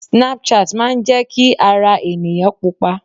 Snapchat máa ń jẹ́ kí ara ènìyàn Pupa.